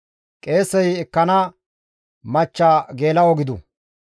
« ‹Qeesey ekkana machcha geela7o gidu.